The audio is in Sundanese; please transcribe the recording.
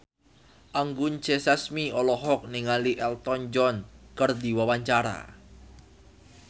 Anggun C. Sasmi olohok ningali Elton John keur diwawancara